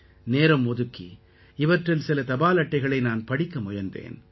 நேரம் ஒதுக்கி இவற்றில் சில தபால் அட்டைகளை நான் படிக்க முயன்றேன்